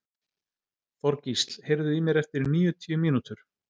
Þorgísl, heyrðu í mér eftir níutíu mínútur.